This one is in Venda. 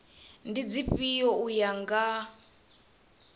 ndi dzifhio u ya nga